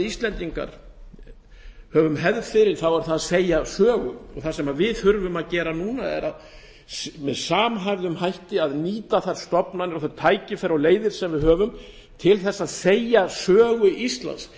íslendingar höfum hefð fyrir er það að segja sögu og það sem við þurfum að gera núna er með samhæfðum hætti að nýta þær stofnanir þau tækifæri og þær leiðir sem við höfum til að segja sögu íslands